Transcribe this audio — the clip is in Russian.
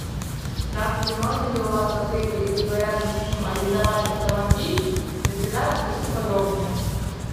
здравствуйте можно ли у вас в отеле либо рядом с ним арендовать автомобиль если да расскажите подробнее